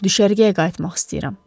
Düşərgəyə qayıtmaq istəyirəm.